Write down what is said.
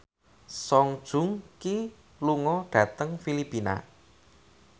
Song Joong Ki lunga dhateng Filipina